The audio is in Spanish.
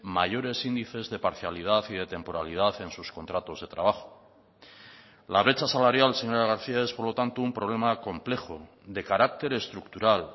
mayores índices de parcialidad y de temporalidad en sus contratos de trabajo la brecha salarial señora garcía es por lo tanto un problema complejo de carácter estructural